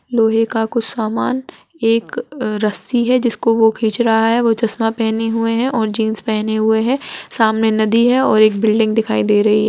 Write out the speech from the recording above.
लोहे का कुछ समान एक अ रस्सी है जिसको वो खींच रहा है वो चश्मा पहने हुए हैं और जीन्स पहने हुए है | सामने नदी है और एक बिल्डिंग दिखाई दे रही है।